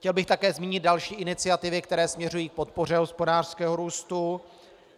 Chtěl bych také zmínit další iniciativy, které směřují k podpoře hospodářského růstu.